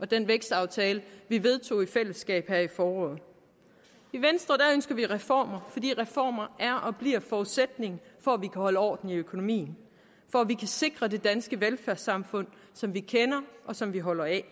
den vækstaftale vi vedtog i fællesskab her i foråret i venstre ønsker vi reformer fordi reformer er og bliver en forudsætning for at vi kan holde orden i økonomien for at vi kan sikre det danske velfærdssamfund som vi kender og som vi holder af